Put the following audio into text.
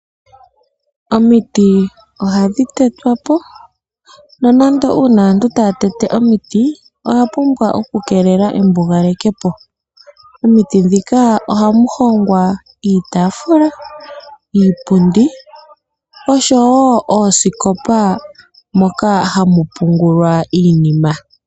Omiti ohadhi tetwapo, nonando uuna aantu taya tetepo omiti oya pumbwa oku keelela embugalo. Momiti ohamu hongwa iitaafula, iipundi oshowo oosikopa moka hamu pungulwa iinima.